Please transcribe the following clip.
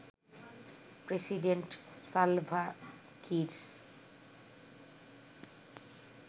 president Salva Kiir